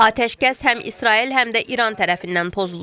Atəşkəs həm İsrail, həm də İran tərəfindən pozulur.